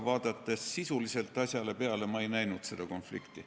Aga sisuliselt asja vaadates ma võin öelda, et ma ei näinud seda konflikti.